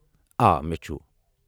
آ ، مےٚ چھٗ ۔